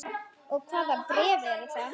Og hvaða bréf eru það?